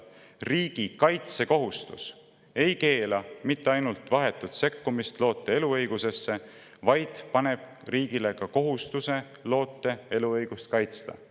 Riigi kaitsekohustus ei keela mitte ainult vahetut sekkumist loote eluõigusesse, vaid ka paneb riigile kohustuse loote eluõigust kaitsta.